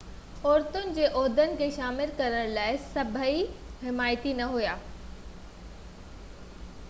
عورتن جي عهدن کي شامل ڪرڻ لاءِ سڀئي حمايتي نہ هئا